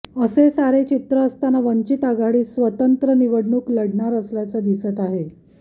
असे सारे चित्र असताना वंचित आघाडी स्वतंत्र निवडणूक लढणार असल्याचं दिसत आहे